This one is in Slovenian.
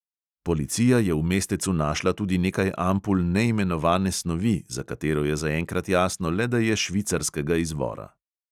Policija je v mestecu našla tudi nekaj ampul neimenovane snovi, za katero je zaenkrat jasno le, da je švicarskega izvora.